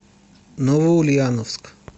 новоульяновск